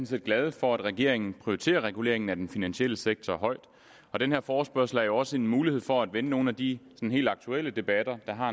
set glade for at regeringen prioriterer reguleringen af den finansielle sektor højt og den her forespørgsel er jo også en mulighed for at vende nogle af de helt aktuelle debatter der har